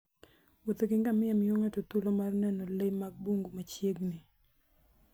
Wuoth gi ngamia miyo ng'ato thuolo mar neno le mag bungu machiegni.